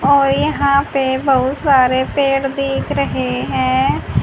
और यहां पे बहुत सारे पेड़ दिख रहे है।